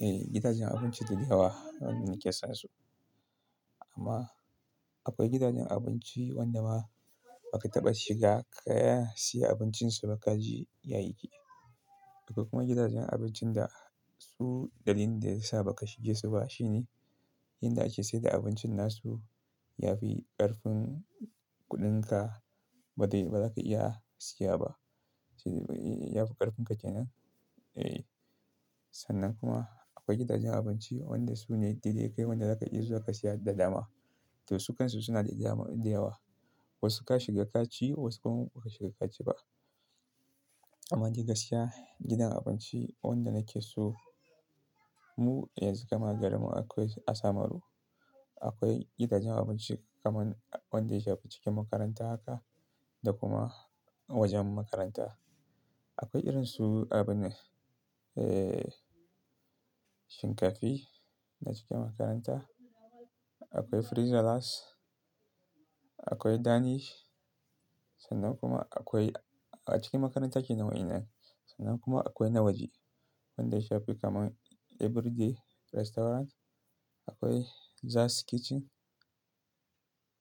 Eh, gidajen abinci da yawa waɗanda nake son su. Amma akwai gidajen abinci waɗanda ma ba ka taɓa shiga ka siyi abincin su ba ka ji yayi kyau. Akwai kuma gidajen abincin da su dalilin da ya sa ba ka shige su ba shine, inda ake saida abincin nasu yafi ƙarfin kuɗin ka ba zai ba za ka iya siya ba. Eh, yafi ƙarfin ka kenan. Eh, sannan kuma akwai gidajen abinci waɗanda su ne diddigai waɗanda za ka iya zuwa ka siya da dama. To su kan su suna da dama, da yawa. Wasu ka shiga ka ci, wasu kuma ba ka shiga ka ci ba. Amma je gashiya gidan abinci wanda nake so mu yanzu gama garin mu akwai Asamaru. Akwai gidajen abinci kaman wanda ya ci cikin makaranta haka da kuma wajen makaranta. Akwai irin su abune, eh shinkafi na cikin makaranta. Akwai Frizzellas. Akwai Danish. Sannan kuma akwai a cikin makaranta kenan waɗannan. Sannan kuma akwai na waje. Wanda ya shafi kaman Everyday Restaurant. Akwai Zas kitchen.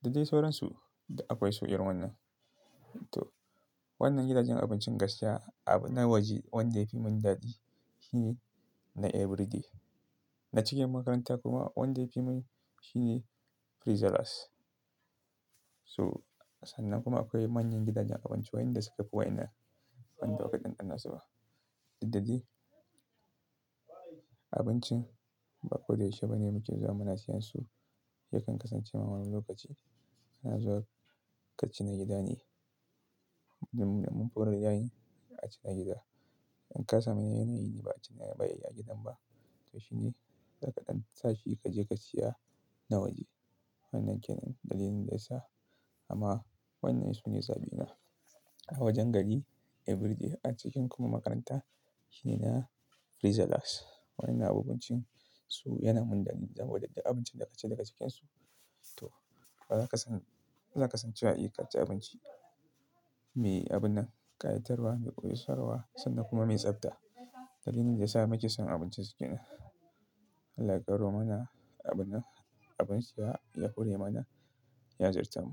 Da dai sauransu. Da akwai su irin wannan. To wannan gidajen abincin gaskiya a na waje wanda yafi mun dadi shi ne na Everyday. Na cikin makaranta kuma wanda yafi mun shi ne Frizzellas. So sannan kuma akwai manyan gidajen abinci waɗanda suka fi waina. Wanda ba ka ɗanɗana su ba. Dukda dai abincin ba ko da yaushe bane mutum za mana siyan su. Yakan kasance ma wani lokaci ana zuwa ka ci na gida ne. Mun buɗe ɗakin a ci na gida. In ka samu yanayi ne ba a ci na baya gidan ba. To shi ne, tsakadan tsafi kaje ka siya na waje. Wannan kenan dalilin da ya sa. Amma wannan su ne zaɓina. A wajen gari Everyday. A cikin kuma makaranta shi ne na Frizzellas. Wannan abincin su yana mun dadi. Zamu ɗadda abincin da aka ci daga cikinsu. To bazaka san bazaka san cewa yake kaci abinci mai abunan ƙayatarwa, mai koyausarwa sannan kuma mai tsabta. Dalilin da ya sa maka son abincin su ke nan. Allah ya karɓo mana abunan abin siya ya hore mana ya azurtamu.